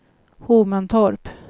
Hovmantorp